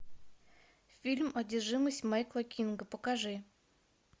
фильм одержимость майкла кинга покажи